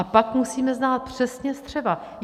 A pak musíme znát přesně střeva.